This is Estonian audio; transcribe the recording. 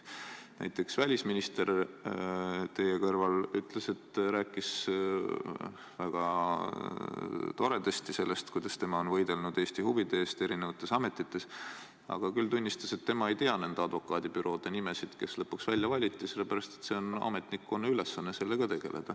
Näiteks välisminister teie kõrval rääkis väga toredasti sellest, kuidas tema on võidelnud Eesti huvide eest erinevates ametites, aga ta tunnistas, et tema ei tea nende advokaadibüroode nimesid, kes lõpuks välja valiti, sest see on ametnikkonna ülesanne.